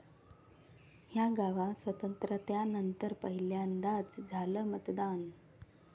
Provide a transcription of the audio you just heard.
या' गावात स्वातंत्र्यानंतर पहिल्यांदाच झालं मतदान